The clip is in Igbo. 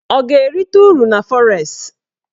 Ọ ga-erite uru na fọres?